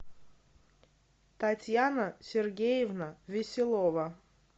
татьяна сергеевна веселова